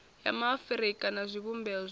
ya maafurika na zwivhumbeo zwayo